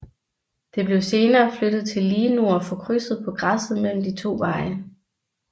Det blev senere flyttet til lige nord for krydset på græsset mellem de to veje